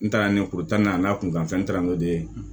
N taara ni tan nana kun kan fɛ n taara ndee